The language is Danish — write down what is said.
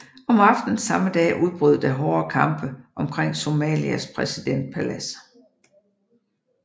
Om aftenen samme dag udbrød der hårde kampe omkring Somalias præsidentpalads